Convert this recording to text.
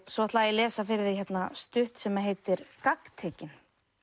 svo ætla ég að lesa fyrir þig stutt sem heitir gagntekin